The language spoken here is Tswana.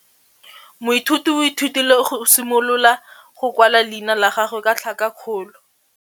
Moithuti o ithutile go simolola go kwala leina la gagwe ka tlhakakgolo.